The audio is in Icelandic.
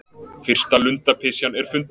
Fyrsta lundapysjan er fundin